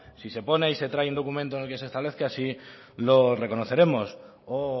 se pone y se trae en documento en el que se establezca así lo reconoceremos o